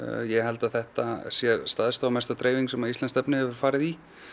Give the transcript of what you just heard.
ég held að þetta sé stærsta og mesta dreifing sem íslenskt efni hefur farið í